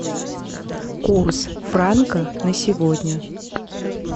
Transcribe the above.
курс франка на сегодня